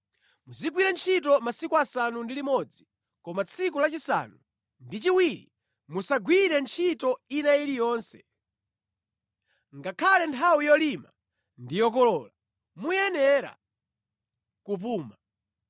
“Muzigwira ntchito masiku asanu ndi limodzi, koma tsiku lachisanu ndi chiwiri, musagwire ntchito ina iliyonse, Ngakhale nthawi yolima ndi yokolola muyenera kupuma.